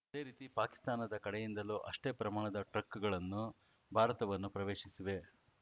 ಅದೇ ರೀತಿ ಪಾಕಿಸ್ತಾನದ ಕಡೆಯಿಂದಲೂ ಅಷ್ಟೇ ಪ್ರಮಾಣದ ಟ್ರಕ್‌ಗಳನ್ನು ಭಾರತವನ್ನು ಪ್ರವೇಶಿಸಿವೆ